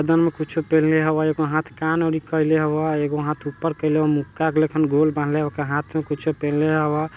गर्दन में कुछू पहिनले हवय एगो हाँथ कान में कइले हवय| एगो हाँथ ऊपर कइले हवय मुक्का गल खन गोल बनैले हवय वोका हाँथ में कुछ पहिनले हव।